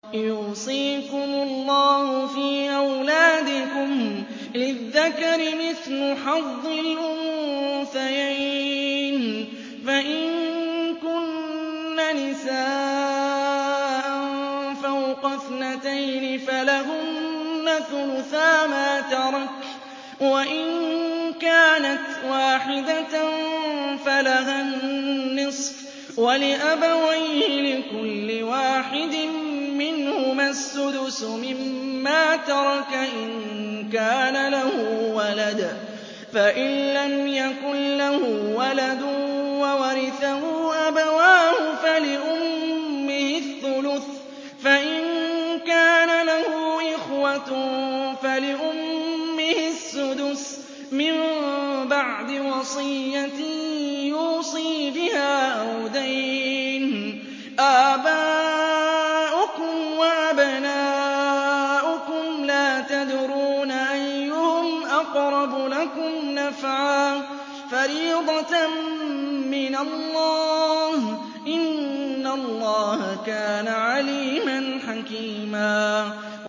يُوصِيكُمُ اللَّهُ فِي أَوْلَادِكُمْ ۖ لِلذَّكَرِ مِثْلُ حَظِّ الْأُنثَيَيْنِ ۚ فَإِن كُنَّ نِسَاءً فَوْقَ اثْنَتَيْنِ فَلَهُنَّ ثُلُثَا مَا تَرَكَ ۖ وَإِن كَانَتْ وَاحِدَةً فَلَهَا النِّصْفُ ۚ وَلِأَبَوَيْهِ لِكُلِّ وَاحِدٍ مِّنْهُمَا السُّدُسُ مِمَّا تَرَكَ إِن كَانَ لَهُ وَلَدٌ ۚ فَإِن لَّمْ يَكُن لَّهُ وَلَدٌ وَوَرِثَهُ أَبَوَاهُ فَلِأُمِّهِ الثُّلُثُ ۚ فَإِن كَانَ لَهُ إِخْوَةٌ فَلِأُمِّهِ السُّدُسُ ۚ مِن بَعْدِ وَصِيَّةٍ يُوصِي بِهَا أَوْ دَيْنٍ ۗ آبَاؤُكُمْ وَأَبْنَاؤُكُمْ لَا تَدْرُونَ أَيُّهُمْ أَقْرَبُ لَكُمْ نَفْعًا ۚ فَرِيضَةً مِّنَ اللَّهِ ۗ إِنَّ اللَّهَ كَانَ عَلِيمًا حَكِيمًا